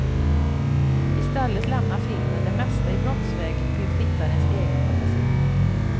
I stället lämnar filmen det mesta i brottsväg till tittarens egen fantasi.